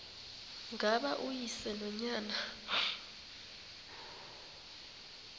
ngaba uyise nonyana